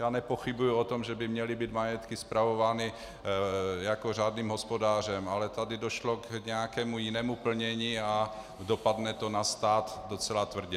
Já nepochybuji o tom, že by měly být majetky spravovány jako řádným hospodářem, ale tady došlo k nějakému jinému plnění a dopadne to na stát docela tvrdě.